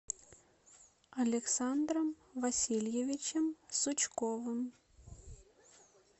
александром васильевичем сучковым